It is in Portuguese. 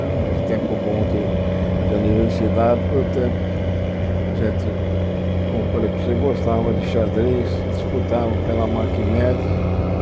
Mas o tempo bom de de universidade foi o tempo que a gente, como eu falei para você, gostava de xadrez, disputava pela Marcmeds.